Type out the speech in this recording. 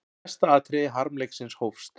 Næsta atriði harmleiksins hófst.